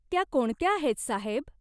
त्या कोणत्या आहेत, साहेब?